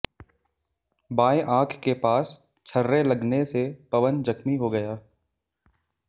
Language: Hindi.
बांए आंख के पास छर्रे लगने से पवन जख्मी हो गया